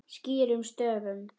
Skýrum stöfum.